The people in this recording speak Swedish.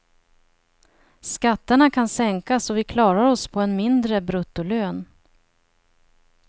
Skatterna kan sänkas och vi klarar oss på en mindre bruttolön.